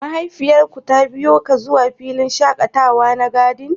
Mahaifiyar ku ta biyo ka zuwa filin shakatawa na " garden"?